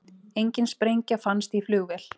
Engin sprengja fannst í flugvél